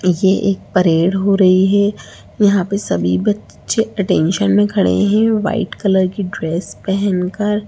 ये एक परेड हो रही है यहाँ पे सभी बच्चे अटेंशन में खड़े हैं वाइट कलर की ड्रेस पहन कर।